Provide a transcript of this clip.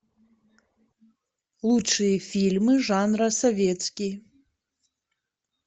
лучшие фильмы жанра советский